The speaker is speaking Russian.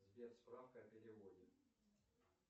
сбер справка о переводе